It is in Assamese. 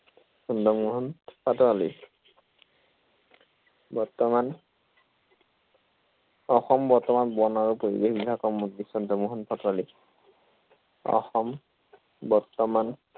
চন্দ্ৰমোহন পাটোৱালী। বৰ্তমান অসম বৰ্তমান বন আৰু পৰিৱেশ বিভাগৰ মন্ত্ৰী চন্দ্ৰমোহন পাটোৱালী। অসম বৰ্তমান চন্দ্ৰমোহন পাটোৱালী।